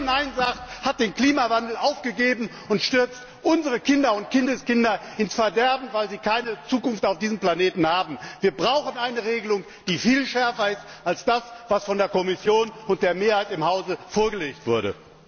Wer hier Nein sagt, hat beim Klimawandel aufgegeben und stürzt unsere Kinder und Kindeskinder ins Verderben, weil sie auf diesem Planeten keine Zukunft haben. Wir brauchen eine Regelung, die viel schärfer ist als das, was von der Kommission und von der Mehrheit im Hause vorgelegt wurde.